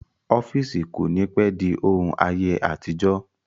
Ọ́fíìsì kò ní pẹ́ di òun ayé àtijọ́